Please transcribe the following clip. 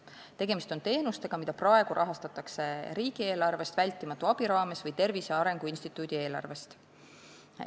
Tegemist on teenustega, mida praegu rahastatakse riigieelarvest vältimatu abi rahastamise raames või Tervise Arengu Instituudi eelarvest.